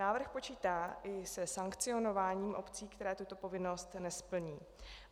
Návrh počítá i se sankcionováním obcí, které tuto povinnost nesplní.